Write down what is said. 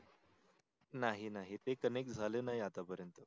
नाही नाही ते connect झाल नाही आता पर्यंत